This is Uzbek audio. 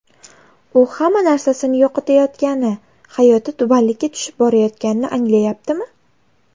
U hamma narsasini yo‘qotayotgani, hayoti tubanlikka tushib borayotganini anglayaptimi?